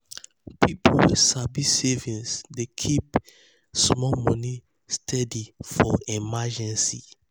people wey sabi saving dey keep um keep um small money um steady for emergency. um